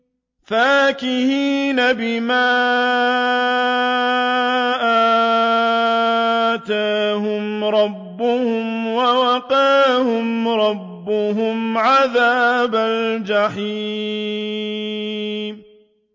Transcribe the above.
فَاكِهِينَ بِمَا آتَاهُمْ رَبُّهُمْ وَوَقَاهُمْ رَبُّهُمْ عَذَابَ الْجَحِيمِ